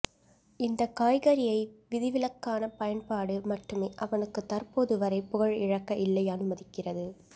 இந்த காய்கறியை விதிவிலக்கான பயன்பாடு மட்டுமே அவனுக்கு தற்போது வரை புகழ் இழக்க இல்லை அனுமதிக்கிறது